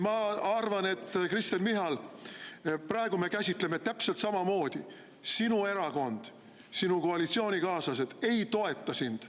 Ma arvan, Kristen Michal, et praegu me käsitleme seda täpselt samamoodi: sinu erakond, sinu koalitsioonikaaslased ei toeta sind.